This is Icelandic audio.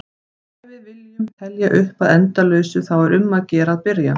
Ef við viljum telja upp að endalausu þá er um að gera að byrja!